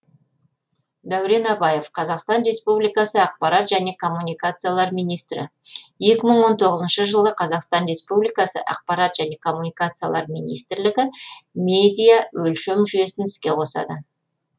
дәурен абаев қазақстан республикасы ақпарат және коммуникациялар министрі екі мың он тоғызыншы жылы қазақстан республикасы ақпарат және коммуникациялар министрлігі медиа өлшем жүйесін іске қосады